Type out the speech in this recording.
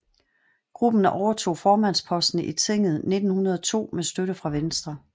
Gruppen overtog formandsposten i tinget i 1902 med støtte fra Venstre